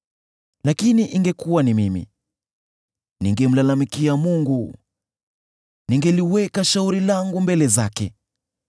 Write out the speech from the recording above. “Lakini ingekuwa ni mimi, ningemlalamikia Mungu, ningeliweka shauri langu mbele zake.